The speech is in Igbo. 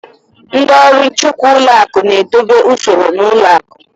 Ndị ọrụ nchekwa ụlọ akụ na-edobe usoro n'ụlọ akụ